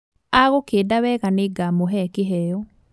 Agũkĩnda wega nĩngamũhee kĩheo